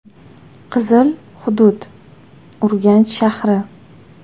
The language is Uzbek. “Qizil” hudud: Urganch shahri.